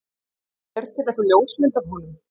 er til einhver ljósmynd af honum